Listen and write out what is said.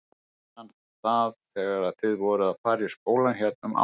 Ég man það þegar þið voruð að fara í skólann hérna um árið!